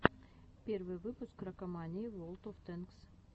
первый выпуск ракомании ворлд оф тэнкс